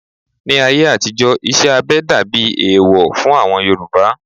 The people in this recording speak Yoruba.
Ní ayé àtijó, iṣẹ́ abẹ dàbí ẹ̀ẹ̀wọ̀ fún àwọn Yorùbá